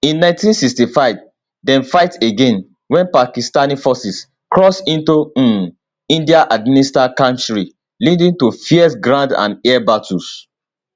in 1965 dem fight again wen pakistani forces cross into um indianadministered kashmir leading to fierce ground and air battles